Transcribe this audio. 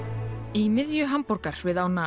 í miðju Hamborgar við ána